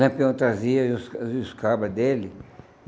Lampião trazia e os e os cabras dele.